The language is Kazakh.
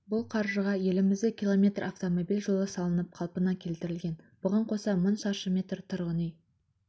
бұл қаржыға елімізде км автомобиль жолы салынып қалпына келтірілген бұған қоса мың шаршы метр тұрғын үй